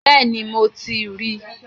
Bẹ́ẹ̀ni, mo ti ríi